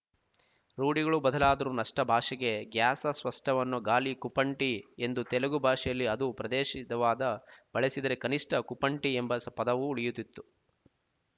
ರೂಢಿಗಳು ಬದಲಾದರೂ ನಷ್ಟ ಭಾಷೆಗೆ ಗ್ಯಾಸ ಸ ಸ್ವಷ್ಟ ವನ್ನು ಗಾಲಿ ಕುಪಂಟಿ ಎಂದು ತೆಲುಗು ಭಾಷೆಯಲ್ಲಿ ಅದು ಪ್ರದೇಶಿದವಾದ ಬಳಸಿದ್ದರೆ ಕನಿಷ್ಟ ಕುಂಪಟಿ ಎಂಬ ಪದವು ಉಳಿಯುತ್ತಿತ್ತು